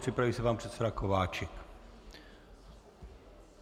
Připraví se pan předseda Kováčik.